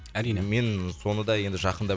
әрине мен соны да енді жақында